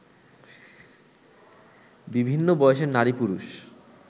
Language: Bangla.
বিভিন্ন বয়সের নারী-পুরুষ